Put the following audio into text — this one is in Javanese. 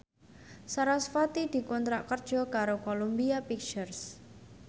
sarasvati dikontrak kerja karo Columbia Pictures